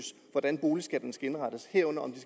hvordan boligskatterne skal indrettes herunder om de